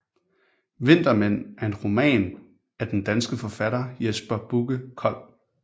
Vintermænd er en roman af den danske forfatter Jesper Bugge Kold